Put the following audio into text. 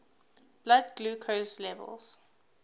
blood glucose levels